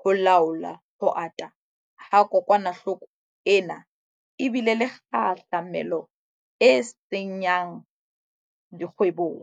ho laola ho ata ha kokwanahloko ena e bile le kgahlamelo e senya ng dikgwebong.